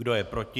Kdo je proti?